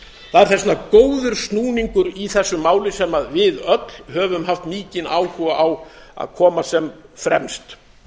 það er þess vegna góður snúningur í þessu máli sem við öll höfum haft mikinn áhuga á að koma sem fremst